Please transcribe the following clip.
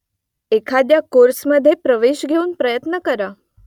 एखाद्या कोर्समध्ये प्रवेश घेऊन प्रयत्न करा